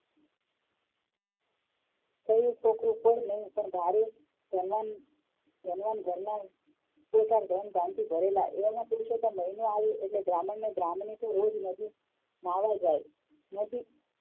છોડી છોકરો કોઈ નઈ પણ ભારે ઘરમાં ઘર માં કોઠા ધન ધાન્ય થી ભરેલા એમાં પુરુષોત્તમ મહિનો આવે એટલે બ્રાહ્મણ અને બ્રાહ્મણી નદી કીનારે નાહવા જાય નદી